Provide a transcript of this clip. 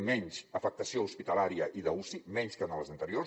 en menys afectació hospitalària i d’uci menys que en les anteriors